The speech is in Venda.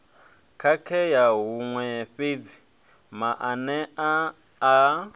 khakhea huṅwe fhedzi maanea a